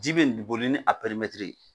Ji be ni boli ni a perimɛtiri ye